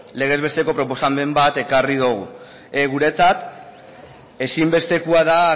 legez besteko proposamen bat ekarri dugu guretzat ezinbestekoa da